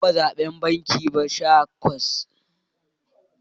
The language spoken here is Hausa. Ban taba zabe ba, ban kai sha takwas ba da akayi zaben da ya gabata.